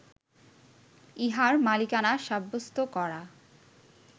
ইহার মালিকানা সাব্যস্ত করা